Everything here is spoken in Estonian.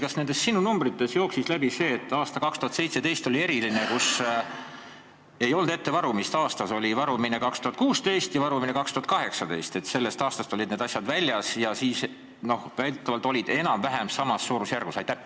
Kas nendest sinu numbritest jooksis läbi see, et aasta 2017 oli eriline, ei olnud varumist, varumine oli aastatel 2016 ja 2018, aga sellest aastast olid need asjad väljas ja siis oli ta väidetavalt enam-vähem samas suurusjärgus?